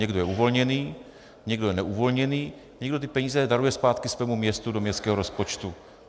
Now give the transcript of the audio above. Někdo je uvolněný, někdo je neuvolněný, někdo ty peníze daruje zpátky svému městu do městského rozpočtu.